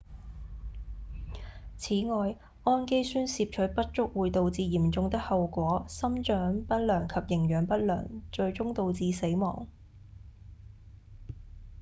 此外胺基酸攝取不足會導致嚴重的後果：生長不良及營養不良最終導致死亡